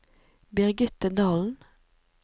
Birgitte Dahlen